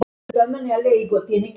Svo kom Inga.